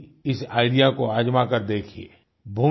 आप भी इस आईडीईए को आज़मा के देखिए